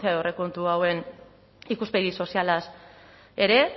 aurrekontu hauen ikuspegi sozialaz ere